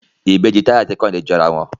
Ìbejì Taye àti Kehinde jọ àrà wón.